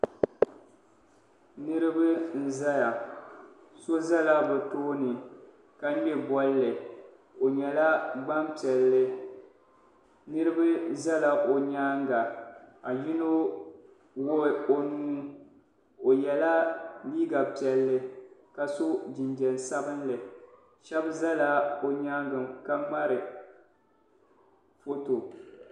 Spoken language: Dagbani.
Niriba n-zaya so zala bɛ tooni ka ŋmɛ bolli o nyɛla gbampiɛlli niriba zala o nyaaŋa ka yino wuɣi o nuu o yela liiga piɛlli ka so jinjam sabinli shɛba zala o nyaaŋa ka ŋmari foto.